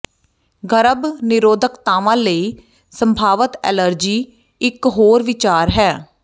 ਗਰਭ ਨਿਰੋਧਕਤਾਵਾਂ ਲਈ ਸੰਭਾਵਤ ਐਲਰਜੀ ਇੱਕ ਹੋਰ ਵਿਚਾਰ ਹੈ